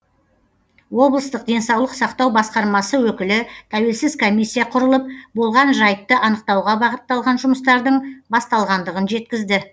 облыстық денсаулық сақтау басқармасы өкілі тәуелсіз комиссия құрылып болған жайтты анықтауға бағытталған жұмыстардың басталғандығын жеткізді